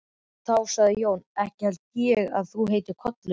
Þá sagði Jón: Ekki held ég að þú heitir Kollur.